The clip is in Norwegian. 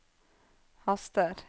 haster